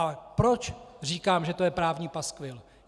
A proč říkám, že to je právní paskvil?